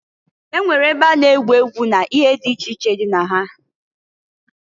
E nwere ebe a na-egwu egwu na ihe di iche iche dị na ha.